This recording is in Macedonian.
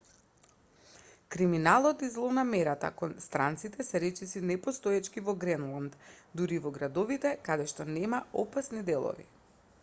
криминалот и злонамерата кон странците се речиси непостоечки во гренланд дури и во градовите каде што нема опасни делови